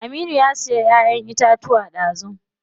Aminu ya siya ƴaƴen itacuwa dazu.